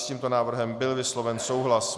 S tímto návrhem byl vysloven souhlas.